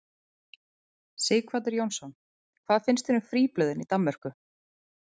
Sighvatur Jónsson: Hvað finnst þér um fríblöðin í Danmörku?